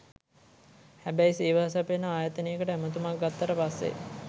හැබැයි සේවා සපයන ආයතනයකට ඇමතුමක් ගත්තට පස්සේ